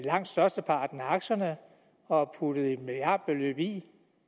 langt størsteparten af aktierne og har puttet et milliardbeløb i